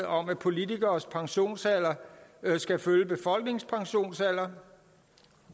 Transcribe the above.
om at politikeres pensionsalder skal følge befolkningens pensionsalder